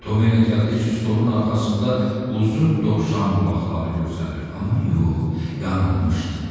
Toma elə gəldi ki, stolun arxasında uzun dovşan qulaqları görünür, amma yox, yanılmışdı.